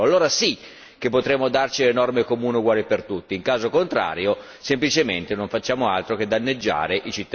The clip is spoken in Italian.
Allora sì, che potremo darci le norme comuni uguali per tutti, in caso contrario semplicemente non facciamo altro che danneggiare i cittadini.